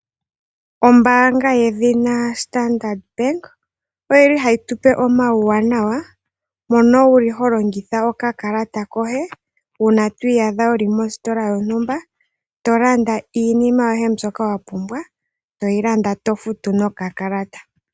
Ombaanga yedhina Standard Bank ohayi tu pe omauwanawa mono ho longitha okakalata koye uuna wi iyadha wu li mositola yontumba to landa iinima yoye mbyoka wa pumbwa to yi landa to futu nokakalata.